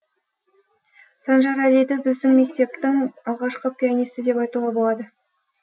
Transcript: санжарәлиді біздің мектептің алғашқы пианисті деп айтуға болады